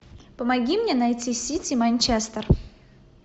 помоги мне найти сити манчестер